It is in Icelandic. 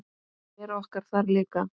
Vera okkar þar líka.